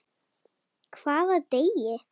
Hvaða degi?